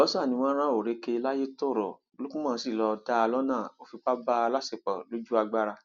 àlùbọsà ni wọn rán orékè layétọrọ lukman sí lọọ dá a lọnà ó fipá bá a láṣepọ lójú agbára